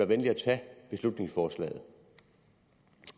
venlig at tage beslutningsforslaget